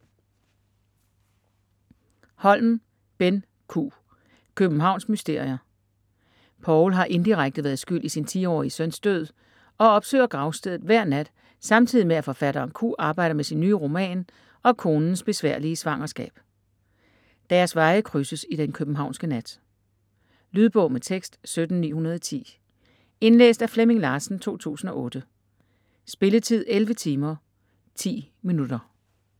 Holm, Benn Q.: Københavns mysterier Paul har indirekte været skyld i sin 10-årige søns død og opsøger gravstedet hver nat samtidig med at forfatteren Q arbejder med sin nye roman og konens besværlige svangerskab. Deres veje krydses i den københavnske nat. Lydbog med tekst 17910 Indlæst af Flemming Larsen, 2008. Spilletid: 11 timer, 10 minutter.